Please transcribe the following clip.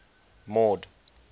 mord